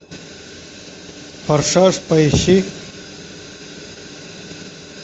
форсаж поищи